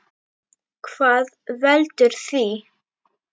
Hvað veldur því?